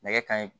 Nɛgɛ kanɲɛ